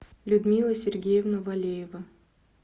людмила сергеевна валеева